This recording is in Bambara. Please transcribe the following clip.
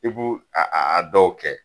I b'u a a a dɔw kɛ.